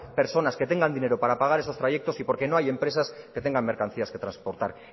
personas que tengan dinero para pagar esos trayectos y porque no hay empresas que tengan mercancías que transportar